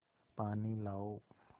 पानी लाओ